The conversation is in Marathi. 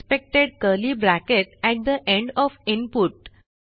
expected curly bracket at the end O F input